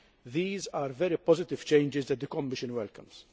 These are very positive changes that the Commission welcomes.